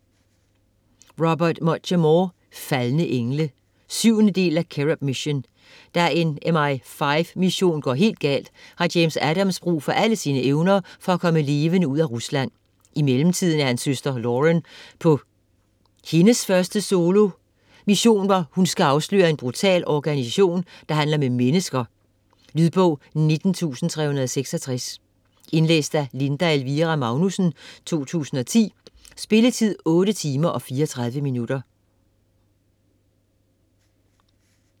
Muchamore, Robert: Faldne engle 7. del af Cherub Mission. Da en MI5 mission går helt galt, har James Adams brug for alle sine evner for at komme levende ud af Rusland. I mellemtiden er hans søster Lauren på hendes første solo mission, hvor hun skal afsløre en brutal organisation der handler med mennesker. Lydbog 19366 Indlæst af Linda Elvira Magnussen, 2010. Spilletid: 8 timer, 34 minutter.